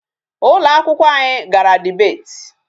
Ụlọ akwụkwọ anyị gara debate.